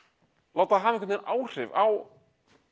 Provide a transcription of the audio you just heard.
láta það hafa einhvern áhrif á